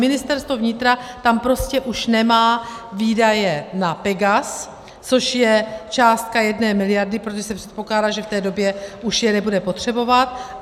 Ministerstvo vnitra tam prostě už nemá výdaje na Pegas, což je částka jedné miliardy, protože se předpokládá, že v té době už je nebude potřebovat.